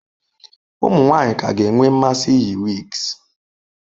Ụmụ nwanyị ka ga-enwe mmasị iyi wigs.